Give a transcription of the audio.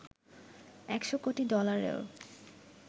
১০০ crore ডলারেরও